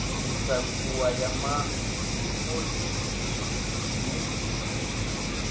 u takuwa ya mafogisi i